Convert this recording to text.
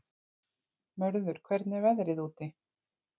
Mörður, hvernig er veðrið úti?